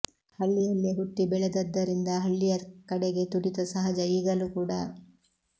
ಹಳ್ಳಿಯಲ್ಲೇ ಹುಟ್ಟಿ ಬೆಳೆದದ್ದರಿಂದ ಹಳ್ಳಿಯ ಕಡೆಗೆ ತುಡಿತ ಸಹಜ ಈಗಲು ಕೂಡ